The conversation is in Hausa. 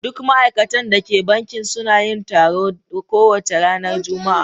Duk ma'aikatan da ke banki suna yin taro kowace ranar Juma'a.